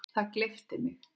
Það gleypti mig.